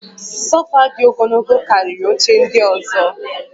Sofa dị ogologo karịa oche ndị ọzọ